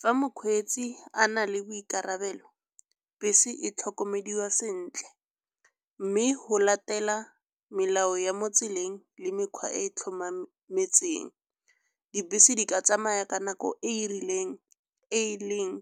Fa mokgweetsi a na le boikarabelo bese e tlhokomelwa sentle. Mme go latela melao ya mo tseleng le mekgwa e e tlhomameng metseng. Dibese di ka tsamaya ka nako e e rileng e leng